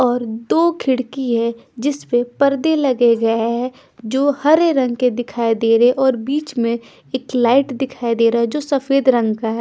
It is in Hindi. और दो खिड़की हैं जिस पे पर्दे लगे गए हैं जो हरे रंग के दिखाई दे रहे है और बीच में एक लाइट दिखाई दे रहा है जो सफ़ेद रंग का है।